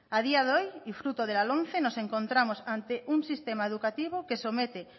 a día de hoy y fruto de la lomce nos encontramos ante un sistema educativo que somete